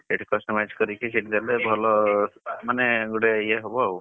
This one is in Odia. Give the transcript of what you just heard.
ସେଇଠି customize କରିକି ସେଇଠି ଦେଲେ ଭଲ ମାନେ ଗୋଟେ ଇଏ ହବ ଆଉ,